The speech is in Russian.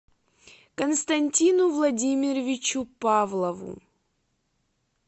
константину владимировичу павлову